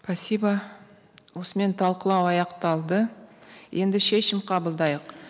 спасибо осымен талқылау аяқталды енді шешім қабылдайық